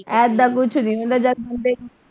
ਏਦਾਂ ਕੁਛ ਨਹੀਂ ਹੁੰਦਾ ਜਦ ਹੁੰਦੇ।